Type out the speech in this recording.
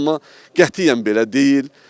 Amma qətiyyən belə deyil.